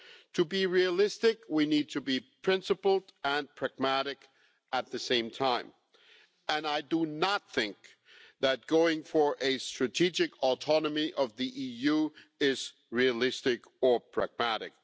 To be realistic, we need to be principled and pragmatic at the same time, and I do not think that going for a strategic autonomy of the EU is realistic or pragmatic.